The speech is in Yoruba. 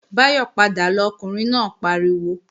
Báyọ̀ padà lọ, Ọkùnrin náà pariwo!